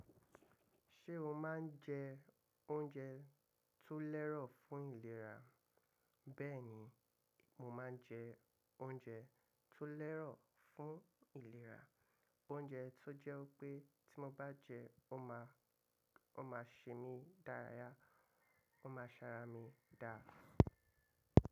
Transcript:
Ṣé o máa ń jẹ oúnjẹ tó lẹ́rọ̀ fún ìlera? Bẹ́ẹ̀ni, mo máa ń jẹ oúnjẹ tó lẹ́rọ̀ fún ìlera, oúnjẹ tó jẹ́ pé tí mo bá jẹ́, ó máa ṣe mí dára, ó máa ṣara mí dáa.